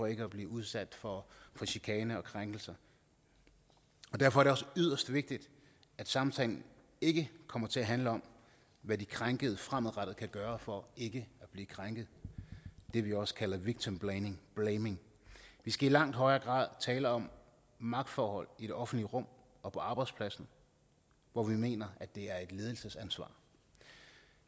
ikke at blive udsat for chikane og krænkelser og derfor er det også yderst vigtigt at samtalen ikke kommer til at handle om hvad de krænkede fremadrettet kan gøre for ikke at blive krænket det vi også kalder victimblaming vi skal i langt højere grad tale om magtforhold i det offentlige rum og på arbejdspladsen hvor vi mener at det er et ledelsesansvar